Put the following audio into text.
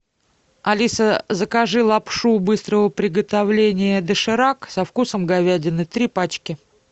алиса закажи лапшу быстрого приготовления доширак со вкусом говядины три пачки